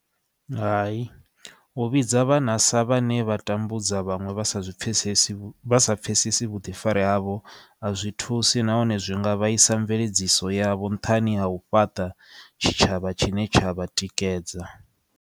Hai u vhidza vhana sa vhane vha tambudza vhaṅwe vha sa zwipfesesi vha sa pfesesi vhuḓifari havho a zwi thusi nahone zwi nga vhaisa mveledziso ya vho nṱhani ha u fhaṱa tshitshavha tshine tsha vhatikedza.